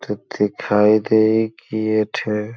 दिखाई दे इ किए थे।